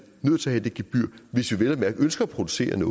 nødt til at have det gebyr hvis vi vel at mærke ønsker at producere